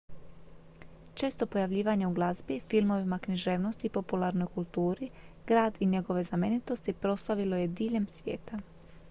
često pojavljivanje u glazbi filmovima književnosti i popularnoj kulturi grad i njegove znamenitosti proslavilo je diljem svijeta